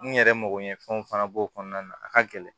N yɛrɛ mago ɲɛ fɛnw fana b'o kɔnɔna na a ka gɛlɛn